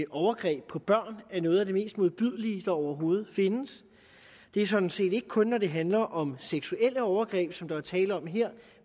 overgreb på børn er noget af det mest modbydelige der overhovedet findes det er sådan set ikke kun når det handler om seksuelle overgreb som der er tale om her